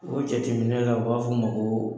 O jateminɛ la oi b'a fɔ o ma ko